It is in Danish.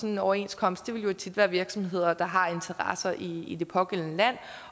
en overenskomst jo tit vil være virksomheder der har interesser i det pågældende land